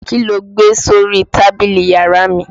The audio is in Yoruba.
Kí lo gbé sórí tábìlì yàrá mi?